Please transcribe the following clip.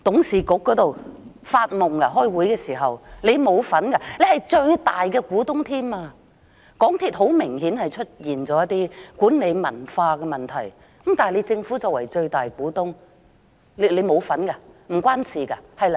政府甚至是最大的股東，港鐵公司很明顯出現了一些管理文化的問題，但政府作為最大的股東，沒有參與嗎？